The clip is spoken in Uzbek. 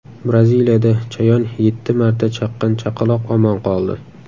Braziliyada chayon yetti marta chaqqan chaqaloq omon qoldi.